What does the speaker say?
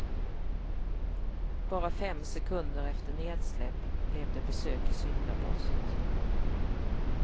Bara fem sekunder efter nedsläpp blev det besök i syndabåset.